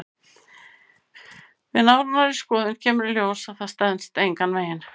Við nánari skoðun kemur í ljós að það stenst engan veginn.